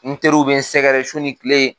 N teriw be n sɛgɛrɛ su ni kile .